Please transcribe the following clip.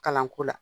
Kalanko la